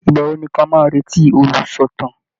Ìgbà wo ni ká máa retí olùsọ̀tàn?